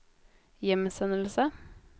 hjemsendelse